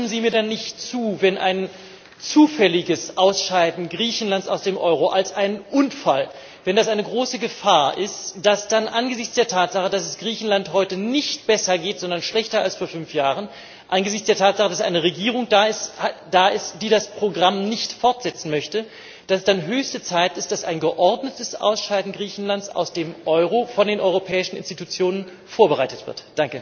Aber stimmen Sie mir denn nicht zu, dass, wenn ein zufälliges Ausscheiden Griechenlands aus dem Euro als ein Unfall eine große Gefahr ist, dann angesichts der Tatsache, dass es Griechenland heute nicht besser, sondern schlechter geht als vor fünf Jahren und, angesichts der Tatsache, dass eine Regierung da ist, die das Programm nicht fortsetzen möchte, es dann höchste Zeit ist, dass ein geordnetes Ausscheiden Griechenlands aus dem Euro von den Europäischen Institutionen vorbereitet wird?